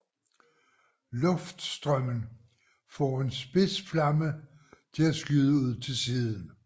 Luftstrømmen får en spids flamme til at skyde ud til siden